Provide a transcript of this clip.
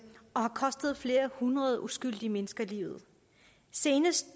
og har kostet flere hundrede uskyldige mennesker livet seneste